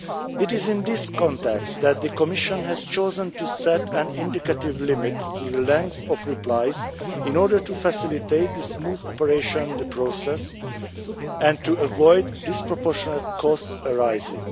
It is in this context that the Commission has chosen to set an indicative limit to the length of replies in order to facilitate the smooth operation of the process and to avoid disproportionate costs arising.